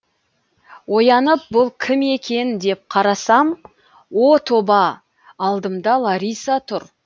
оянып бұл кім екен деп қарасам о тоба алдымда лариса тұр